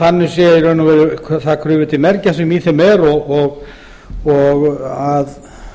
þannig sé í raun og veru það krufið til mergjar sem í þeim er og að